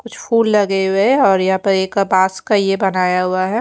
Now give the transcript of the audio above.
कुछ फूल लगे हुए और यहां पर एक बॉस का ये बनाया हुआ है।